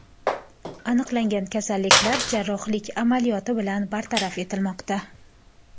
Aniqlangan kasalliklar jarrohlik amaliyoti bilan bartaraf etilmoqda.